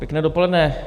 Pěkné dopoledne.